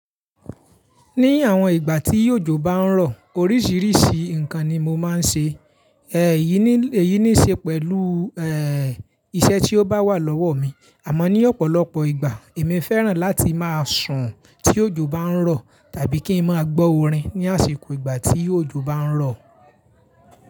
Ní àwọn ìgbà tí òjò bá ń rọ̀ oríṣiríṣi nǹkan ni mo máa ń ṣe, èyí ní, èyí ní í ṣe pẹ̀lú, ẹ́, iṣẹ́ tí ó bá wà lọ́wọ́ mi. Àmọ́ ní ọ̀pọ̀lọpọ̀ ìgbà, èmi fẹ́ràn láti máa sùn tí òjò bá ń rọ̀ tàbí kí ń máa gbọ́ orin ní àsìkò ìgbà tí òjò bá ń rọ̀.